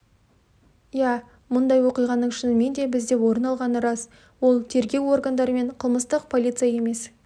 иә мұндай оқиғаның шынымен де бізде орын алғаны рас ол тергеу органдары мен қылмыстық полиция емес